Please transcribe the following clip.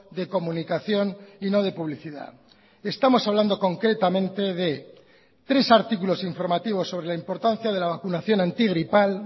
de comunicación y no de publicidad estamos hablando concretamente de tres artículos informativos sobre la importancia de la vacunación antigripal